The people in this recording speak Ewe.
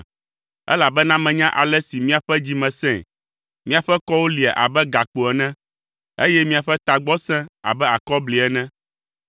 elabena menya ale si miaƒe dzi me sẽe. Miaƒe kɔwo lia abe gakpo ene, eye miaƒe tagbɔ sẽ abe akɔbli ene,